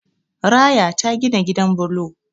Raya ta gina gidan bulo